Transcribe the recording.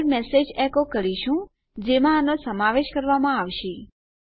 આગળ મેસેજ એકો કરીશું જેનો આમાં સમાવેશ કરાવામાં આવશે